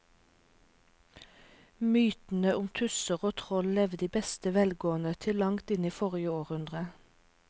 Mytene om tusser og troll levde i beste velgående til langt inn i forrige århundre.